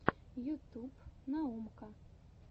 ютуб наумка